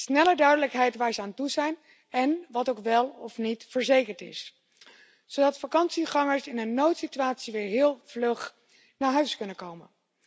Sneller duidelijkheid over waar ze aan toe zijn en wat wel of niet verzekerd is. Zodat vakantiegangers in een noodsituatie weer heel vlug naar huis kunnen komen.